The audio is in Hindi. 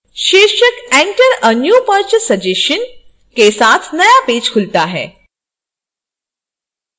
शीर्षक enter a new purchase suggestion के साथ नया पेज खुलता है